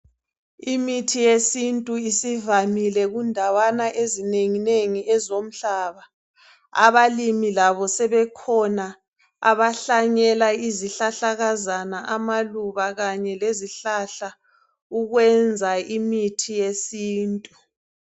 Imithi yesintu isivamile kudawana ezinengi zomhlaba abalimi labo sebekhona abahlanyela izihlahlakazana amaluba kanye lezihlahla ukwenza imithi yesintu